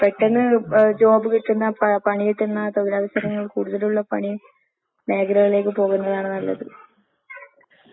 അങ്ങനെ നമ്മള് മുപ്പ മുന്നോട്ട് പഠിച്ചീനെങ്കില് ഇന്നും അവരെപ്പോലെ ഏ നല്ല ഒര് ജോലി കിട്ടുവെന്ന് അവരെത്തന്നെ കണ്ടിട്ട് ഞാൻ എത്രയോ പ്രാവശ്യം പറഞ്ഞ്.